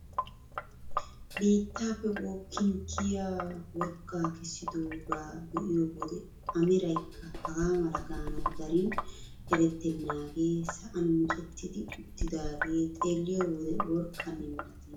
Biittaappe bookkin kiyaa worqqaa kessidoogaa be'iyo wode a meraykka hagaa mala gaanawu darin erettenaagee sa'an micetti uttidagee xeelliyoo wode worqqanne milatenna!